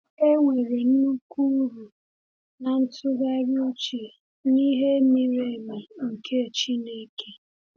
Enwere nnukwu uru n’ịtụgharị uche n’ihe miri emi nke Chineke.